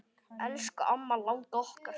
Elsku amma langa okkar.